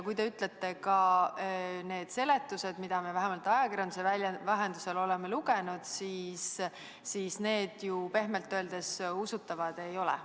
Ja need seletused, mida me ajakirjanduse vahendusel oleme lugenud, ju pehmelt öeldes usutavad ei ole.